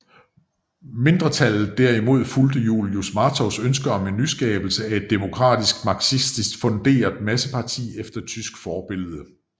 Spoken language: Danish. Mindretallet derimod fulgte Julius Martovs ønsker om skabelse af et demokratisk marxistisk funderet masseparti efter tysk forbillede